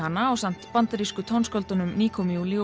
ásamt bandarísku tónskáldunum Nico Muhly og